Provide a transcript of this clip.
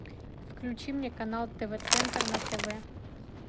включи мне канал тв центр на тв